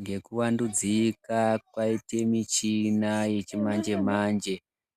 Ngekuvandudzika kwaite michina yechimanjemanje